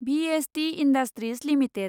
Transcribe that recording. VST industries limited